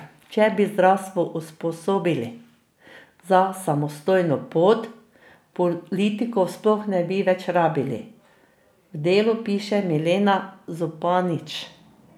Če bi zdravstvo usposobili za samostojno pot, politikov sploh ne bi več rabili, v Delu piše Milena Zupanič.